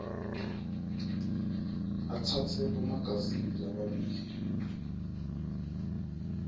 atsatse bomagazini lababili